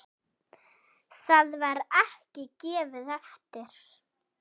Það var ekki gefið eftir.